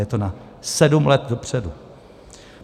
Je to na sedm let dopředu.